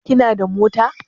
Kina da mota?